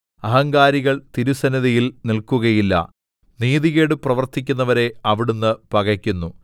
അഹങ്കാരികൾ തിരുസന്നിധിയിൽ നില്‍ക്കുകയില്ല നീതികേട് പ്രവർത്തിക്കുന്നവരെ അവിടുന്ന് പകക്കുന്നു